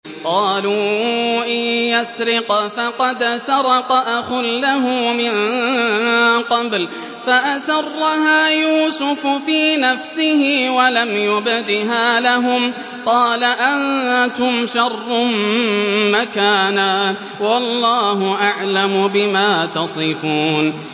۞ قَالُوا إِن يَسْرِقْ فَقَدْ سَرَقَ أَخٌ لَّهُ مِن قَبْلُ ۚ فَأَسَرَّهَا يُوسُفُ فِي نَفْسِهِ وَلَمْ يُبْدِهَا لَهُمْ ۚ قَالَ أَنتُمْ شَرٌّ مَّكَانًا ۖ وَاللَّهُ أَعْلَمُ بِمَا تَصِفُونَ